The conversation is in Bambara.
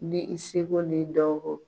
Ni i seko n'i dɔn ko.